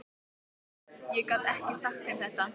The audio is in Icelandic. Ég get ekki sagt þeim þetta.